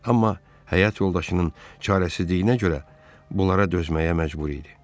Amma həyat yoldaşının çarəsizliyinə görə bunlara dözməyə məcbur idi.